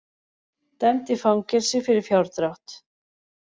Dæmd í fangelsi fyrir fjárdrátt